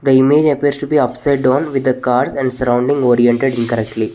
The image appears to be upside down on with the cars and surrounding oriented incorrectly.